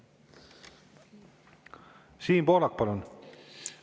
Siim Pohlak, palun!